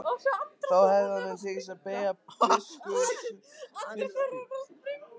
Þá hefði honum tekist að beygja biskupsvaldið og kirkjuna.